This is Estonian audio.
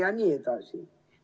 ... iluprotseduure.